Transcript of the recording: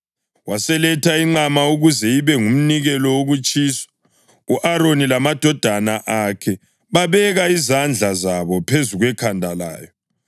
Waseletha inqama ukuze ibe ngumnikelo wokutshiswa, u-Aroni lamadodana akhe babeka izandla zabo phezu kwekhanda layo.